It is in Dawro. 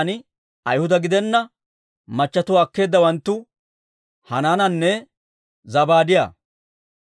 Imeera yaran Ayhuda gidenna machchetuwaa akkeedawanttu Hanaananne Zabaadiyaa.